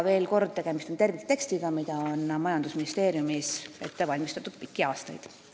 Veel kord: tegemist on terviktekstiga, mida on majandusministeeriumis ette valmistatud pikki aastaid.